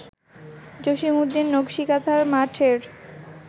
জসীমউদ্দীনের নকসী কাঁথার মাঠ-এর